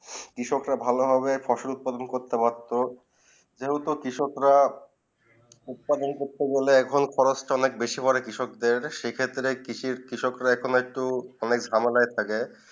কৃষক রা ভালো ভাবে ফসল উৎপাদন করতে পারতো যে হলে কৃষক রা উৎপাদন না হলে খরচ তা একটু বেশি পরে কৃষক দের সেই ক্ষেত্রে কৃষক রা অনেক একটু ঝামেলায় থাকে